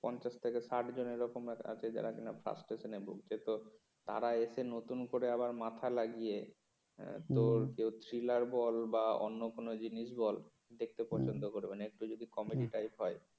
পঞ্চাশ থেকে ষাট জনের এরকম আছে যারা কিনা frustration ভুগছে তো তারা এসে নতুন করে আবার মাথা লাগিয়ে তোর থ্রিলার বল বা অন্য কোন জিনিস বল দেখতে পছন্দ করবে না একটু যদি কমেডি টাইপ হয়